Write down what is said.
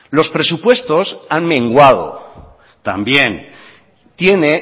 los presupuestos han menguado también tiene